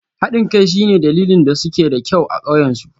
Haɗin kai shine dalilin da suke da kyau a ƙauyen su